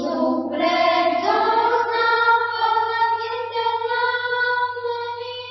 शुभ्रज्योत्स्नापुलकितयामिनीं